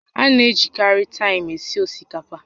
A na-ejikarị taịm esi osikapa